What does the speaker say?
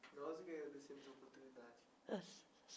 Nós que agradecemos a oportunidade.